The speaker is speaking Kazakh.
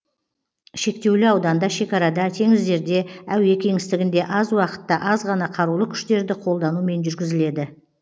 шектеулі ауданда шекарада теңіздерде әуе кеңістігінде аз уақытта аз ғана қарулы күштерді қолданумен жүргізіледі